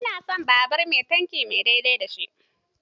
Ina son babur mai tankin mai daidai da shi.